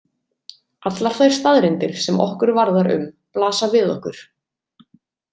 Allar þær staðreyndir sem okkur varðar um blasa við okkur.